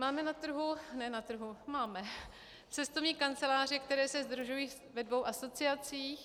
Máme na trhu - ne na trhu, máme cestovní kanceláře, které se sdružují ve dvou asociacích.